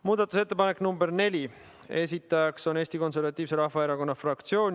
Muudatusettepanek nr 4, esitaja on Eesti Konservatiivse Rahvaerakonna fraktsioon.